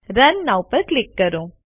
run now પર click કરો